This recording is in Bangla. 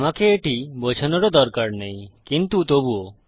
আমাকে এটি বোঝানোর ও দরকার নেই কিন্তু তবুও